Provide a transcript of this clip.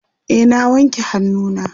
e na wanke hannu na